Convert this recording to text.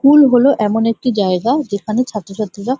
school হলো এমন একটি জায়গা যেখানে ছাত্রছাত্রীরা--